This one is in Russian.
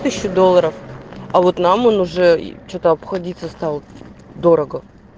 тысячу долларов а вот нам он уже что-то обходиться стал дорого